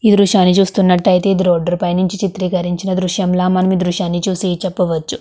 ఈ దృషాన్ని చూస్తునట్టుయితే ఇది రోడ్డు పై నుంచి చిత్రీకరించిన దృశ్యంలా మనవి దృశ్యాన్ని చూసి చెప్పవచ్చు.